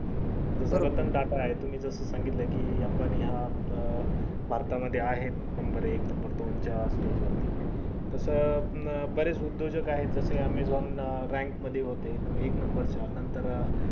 Ratan tata आहेत तुम्ही जर सांगितलं कि अंबानी हा भरता मध्ये आहे number एक number दोन stag च्या वरती तस बरेच उदयोजक आहेत जस amazon rank मध्ये होते एक number च्या नंतर